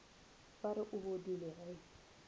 ba re o bodile ge